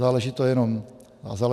Záleží to jenom na nás.